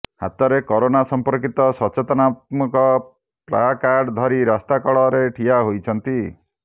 ହାତରେ କାରୋନା ସମ୍ପର୍କିତ ସଚେତନାତ୍ମକ ପ୍ଲାକାଡ ଧରି ରାସ୍ତା କଡ ରେ ଠିଆ ହୋଇଛନ୍ତି